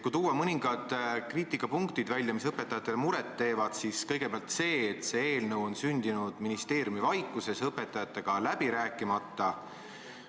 Kui tuua välja mõningad kriitilised punktid, mis õpetajatele muret teevad, siis kõigepealt tuleks mainida seda, et see eelnõu on sündinud ministeeriumivaikuses õpetajatega läbi rääkimata.